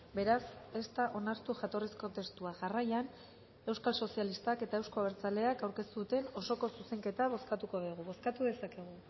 beraz ez da onartu jatorrizko testua jarraian euskal sozialistak eta euzko abertzaleak aurkeztu duten osoko zuzenketa bozkatuko dugu bozkatu dezakegu